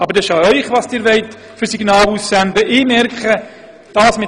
Aber es ist an Ihnen, zu entscheiden, welche Signale Sie aussenden wollen.